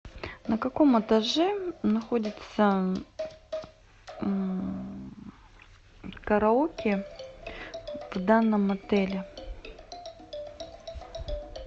на каком этаже находится караоке в данном отеле